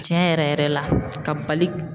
Tiɲɛ yɛrɛ yɛrɛ yɛrɛ la, ka bali